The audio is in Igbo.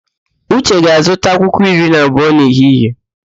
Uche ga-azụta àkwá iri na abụọ n'ehihie